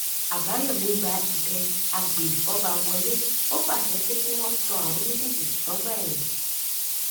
àbáyọmí gba ẹbẹ agbèfọba wọlé ó pàṣẹ pé kí wọn sọ àwọn méjèèjì sọgbà ẹwọn